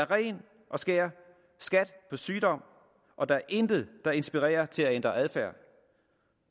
ren og skær skat på sygdom og der er intet der inspirerer til at ændre adfærd